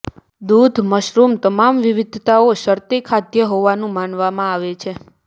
દૂધ મશરૂમ્સ તમામ વિવિધતાઓ શરતી ખાદ્ય હોવાનું માનવામાં આવે છે